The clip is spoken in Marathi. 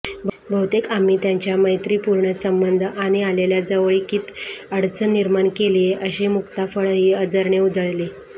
बहुतेक आम्ही त्यांच्या मैत्रिपूर्ण संबंध आणि आलेल्या जवळकीत अडचण निर्माण केलीये अशी मुक्ताफळंही अझरने उधळली